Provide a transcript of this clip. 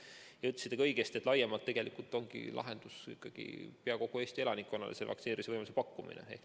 Te ütlesite ka õigesti, et laiemalt tegelikult ongi lahendus ikkagi peaaegu kogu Eesti elanikkonnale vaktsineerimise võimaluse pakkumine.